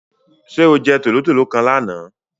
Sé o je tòlótòló kan lánàá?